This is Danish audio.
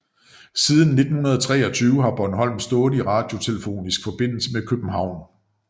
Siden 1923 har Bornholm stået i radiotelefonisk forbindelse med København